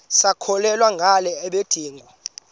sisakholwa ngala mabedengu